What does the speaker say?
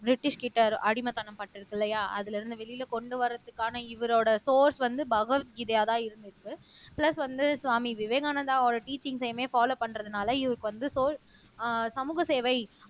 பிரிட்டிஷ்கிட்ட அவரு அடிமைத்தனம் பட்டு இருக்கு இல்லையா அதுல இருந்து வெளியில கொண்டு வர்றதுக்கான இவரோட சோர்ஸ் வந்து பகவத்கீதையாதான் இருந்துச்சு பிளஸ் வந்து சுவாமி விவேகானந்தாவோட டீச்சிங்ஸ்யுமே பாலோவ் பண்றதுனால இவருக்கு வந்து சோ அஹ் சமூக சேவை